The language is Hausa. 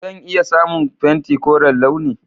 Zan iya samun fenti koren launi?